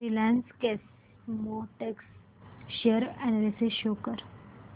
Reliance Chemotex share analysis show कर